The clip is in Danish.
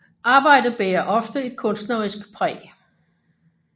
Arbejdet bærer ofte et kunstnerisk præg